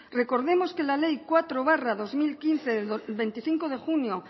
recordemos que la ley cuatro barra dos mil quince de veinticinco de junio